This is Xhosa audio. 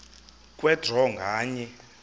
kwe draw nganye